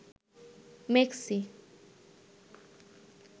মেক্সি